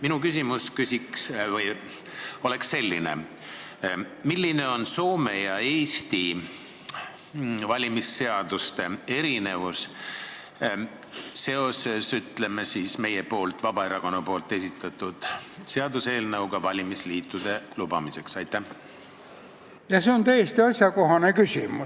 Minu küsimus on selline: milline on Soome ja Eesti valimisseaduste erinevus, seoses meie, Vabaerakonna esitatud valimisliitude lubamise seaduseelnõuga?